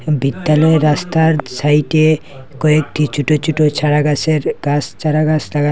বিদ্যালয়ের রাস্তার সাইডে কয়েকটি ছোট ছোট চারাগাছের গাছ চারাগাছ লাগানো।